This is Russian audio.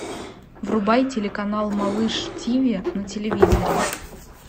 врубай телеканал малыш тв на телевизоре